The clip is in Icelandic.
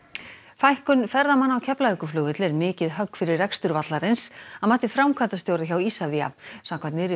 fækkun ferðamanna á Keflavíkurflugvelli er mikið högg fyrir rekstur vallarins að mati framkvæmdastjóra hjá Isavia samkvæmt nýrri